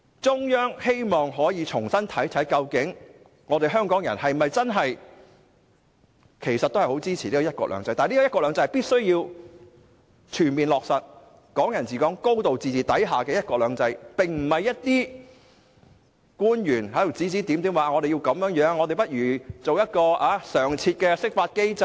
中央希望重新評估香港人是否真正支持"一國兩制"，但"一國兩制"必須建基於全面落實"港人治港"和"高度自治"，而不應由內地官員指指點點，說不如設立一個常設的釋法機制等。